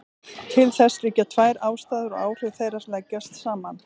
Til þess liggja tvær ástæður og áhrif þeirra leggjast saman.